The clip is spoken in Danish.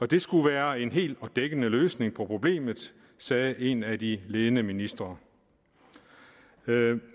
det skulle være en hel og dækkende løsning på problemet sagde en af de ledende ministre